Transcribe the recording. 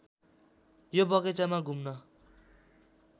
यो बगैंचामा घुम्न